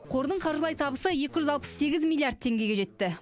қордың қаржылай табысы екі жүз алпыс сегіз миллиард теңгеге жетті